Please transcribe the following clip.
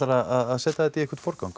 að setja þetta í einhvern forgang